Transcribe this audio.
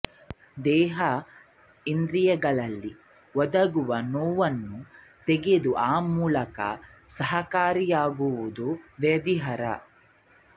ದೇಹ ಇಂದ್ರಿಯಗಳಲ್ಲಿ ಒದಗುವ ನೋವನ್ನು ತೆಗೆದು ಆ ಮೂಲಕ ಸುಖಕಾರಿಯಾಗುವುದು ವ್ಯಾಧಿಹರ